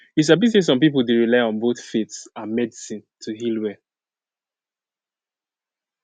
you sabi say some people dey rely on both faith and medicine to heal well